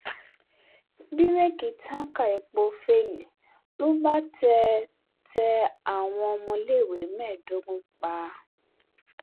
bíréèkì táǹkà epo féèlì ló bá tẹ tẹ àwọn ọmọléèwé mẹ́ẹ̀ẹ́dógún pa